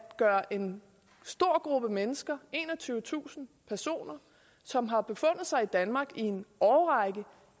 gøre en stor gruppe mennesker enogtyvetusind personer som har befundet sig i danmark i en årrække